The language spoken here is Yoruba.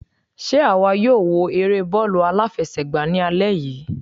Sé àwa yóò wo eré bọ́ọ̀lù aláfẹsẹ̀gbá ní alẹ́ yìí?